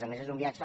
a més és un viatge